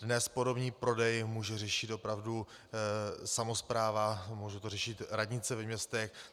Dnes podomní prodej může řešit opravdu samospráva, může to řešit radnice ve městech.